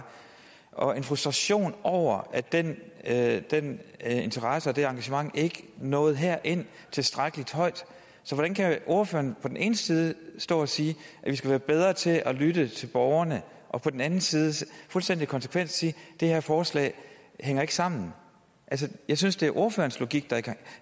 og der er en frustration over at den at den interesse og det engagement ikke nåede herind i tilstrækkelig grad så hvordan kan ordføreren på den ene side stå og sige at vi skal være bedre til at lytte til borgerne og på den anden side fuldstændig konsekvent sige at det her forslag ikke hænger sammen altså jeg synes det